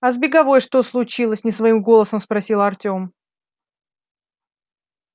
а с беговой что случилось не своим голосом спросил артем